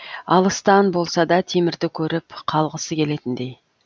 алыстан болса да темірді көріп қалғысы келетіндей